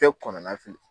Bɛɛ kɔnɔnana